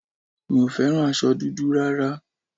Mi ò fẹ́ràn aṣọ dúdú rárá